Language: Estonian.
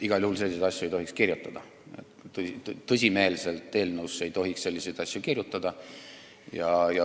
Igal juhul ei tohiks tõsimeelselt eelnõusse selliseid asju kirjutada.